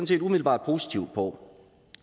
set umiddelbart positivt på